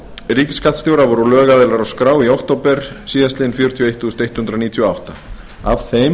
ríkisskattstjóra voru lögaðilar á skrá í október síðastliðinn fjörutíu og eitt þúsund hundrað níutíu og átta af þeim